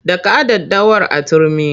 Daka daddawar a turmi!